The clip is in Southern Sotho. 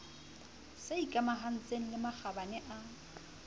se ikamahantseng le makgabane a